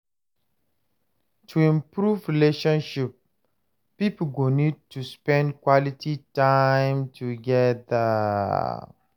To improve relationship, pipo go need to spend quality time together